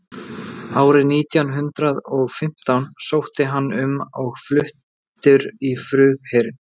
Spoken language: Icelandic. árið nítján hundrað og fimmtán sótti hann um og var fluttur í flugherinn